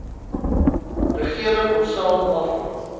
regering onsself afvra